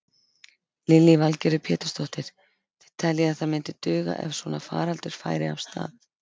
Lillý Valgerður Pétursdóttir: Þið teljið að það myndi duga ef svona faraldur færi af stað?